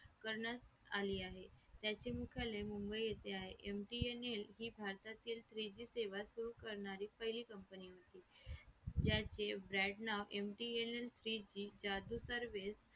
करण्यात आली आहे याचे मुख्यालय मुंबई येथे आहे MTNL ही भारतातील three G सेवा सुरू करणारी पहिली company होती याचे exit नाव MTNL speed charge service